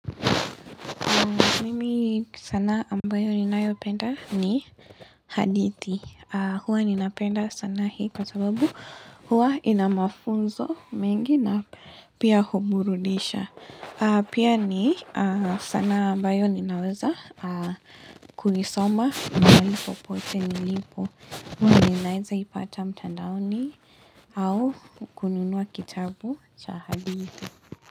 Mimi sanaa ambayo ninayopenda ni hadithi. Huwa ninapenda sana hii kwa sababu huwa ina mafunzo mengi na pia huburudisha Pia ni sanaa ambayo ninaweza kuisoma mahali popote nilipo. Mimi ninaeza ipata mtandaoni au kununua kitabu cha hadithi.